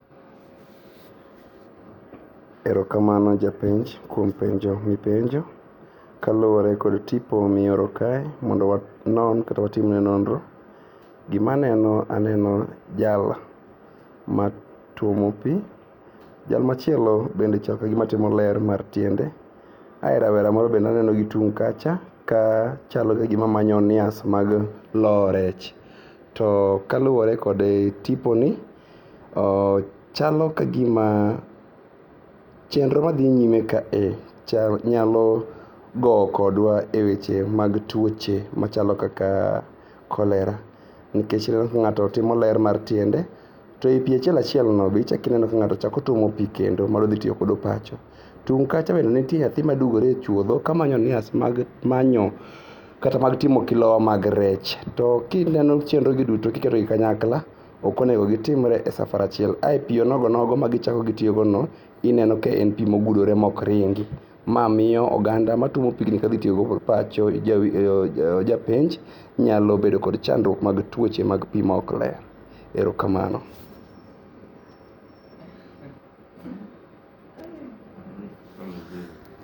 Erokamano japenj kuom penjo mipenjo. Kaluore kod tipo mioro kae mondo wanon kata watimne nonro. Gimaneno, aneno jal matuomo pii. Jal machielo bende chal kagima timo ler mar tiende ae rawera moro bende aneno gi tung' kacha ka chalo ka gima manyo onias mag lowo rech. To kaluore kod tiponi, chalo ka gima chenro madhi nyime kae nyalo goo kodwa e weche mag tuoche machalo kaka cholera nikech ineno ka ng'ato timo ler mar tiende to ei pii achiel achielno be ichako ineno ka ng'ato chako tuomo pii kendo modhitiyo kodo pacho. Tung' kacha be nitie nyathima dugore e chuodho kamanyo onias mag manyo kata mag timo kilowa mag rech. To kineno chenrogi duto kiterogi kanyakla okonego gitimre e safar achiel ae pio nogonogo ma gichako gitio gono ineno ka en pii mogudore mokringi. Ma miyo oganda matuomo pigni kadhitiyogo kod pacho japenj nyalobedo kod chandruok mag tuoche mag pii maokler. Erokamano.